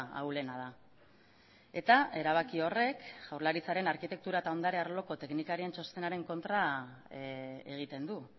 ahulena da eta erabaki horrek jaurlaritzaren arkitektura eta ondare arloko teknikarien txostenaren kontra egiten du